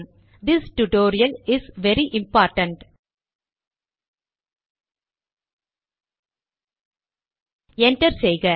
this tutorial is very important enter செய்க